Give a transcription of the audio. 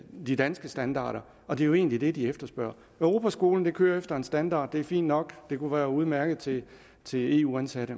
de danske standarder og det er jo egentlig det de efterspørger europaskolen kører efter en standard og det er fint nok det kan være udmærket til til eu ansattes